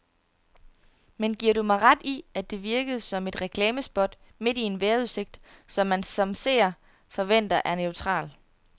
Men giver du mig ret i, at det virkede som et reklamespot midt i en vejrudsigt, man som seer forventer er neutral.